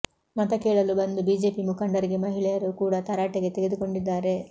ಮತ ಕೇಳಲು ಬಂದು ಬಿಜೆಪಿ ಮುಖಂಡರಿಗೆ ಮಹಿಳೆಯರು ಕೂಡ ತರಾಟೆಗೆ ತೆಗೆದುಕೊಂಡಿದ್ದಾರೆ